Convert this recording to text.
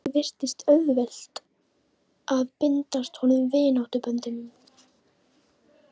Ekki virtist vera auðvelt að bindast honum vináttuböndum.